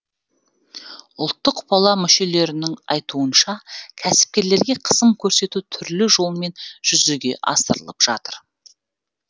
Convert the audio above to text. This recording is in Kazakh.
ұлттық пала мүшелерінің айтуынша кәсіпкерлерге қысым көрсету түрлі жолмен жүзеге асырылып жатыр